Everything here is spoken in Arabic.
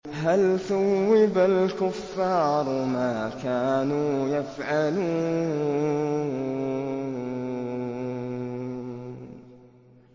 هَلْ ثُوِّبَ الْكُفَّارُ مَا كَانُوا يَفْعَلُونَ